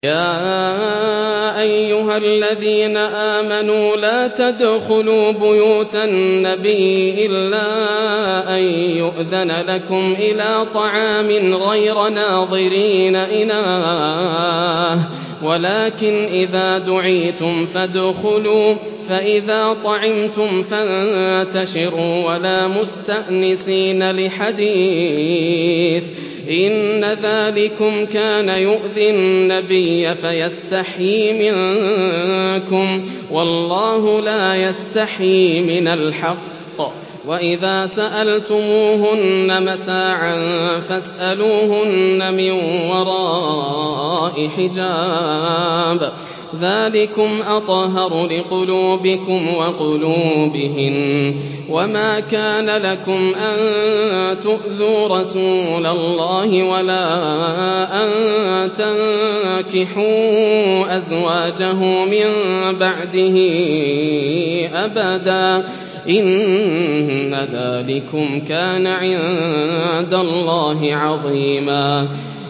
يَا أَيُّهَا الَّذِينَ آمَنُوا لَا تَدْخُلُوا بُيُوتَ النَّبِيِّ إِلَّا أَن يُؤْذَنَ لَكُمْ إِلَىٰ طَعَامٍ غَيْرَ نَاظِرِينَ إِنَاهُ وَلَٰكِنْ إِذَا دُعِيتُمْ فَادْخُلُوا فَإِذَا طَعِمْتُمْ فَانتَشِرُوا وَلَا مُسْتَأْنِسِينَ لِحَدِيثٍ ۚ إِنَّ ذَٰلِكُمْ كَانَ يُؤْذِي النَّبِيَّ فَيَسْتَحْيِي مِنكُمْ ۖ وَاللَّهُ لَا يَسْتَحْيِي مِنَ الْحَقِّ ۚ وَإِذَا سَأَلْتُمُوهُنَّ مَتَاعًا فَاسْأَلُوهُنَّ مِن وَرَاءِ حِجَابٍ ۚ ذَٰلِكُمْ أَطْهَرُ لِقُلُوبِكُمْ وَقُلُوبِهِنَّ ۚ وَمَا كَانَ لَكُمْ أَن تُؤْذُوا رَسُولَ اللَّهِ وَلَا أَن تَنكِحُوا أَزْوَاجَهُ مِن بَعْدِهِ أَبَدًا ۚ إِنَّ ذَٰلِكُمْ كَانَ عِندَ اللَّهِ عَظِيمًا